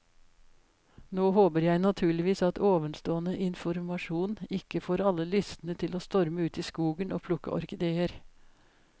Nå håper jeg naturligvis at ovenstående informasjon ikke får alle lystne til å storme ut i skogen og plukke orkideer.